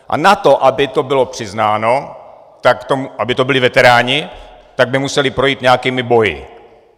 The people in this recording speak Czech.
A na to, aby to bylo přiznáno, aby to byli veteráni, tak by museli projít nějakými boji.